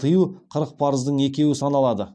тыю қырық парыздың екеуі саналады